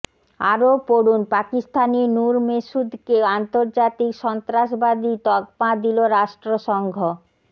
আরও পড়ুন পাকিস্তানি নূর মেসুদকে আন্তর্জাতিক সন্ত্রাসবাদী তকমা দিল রাষ্ট্রসংঘ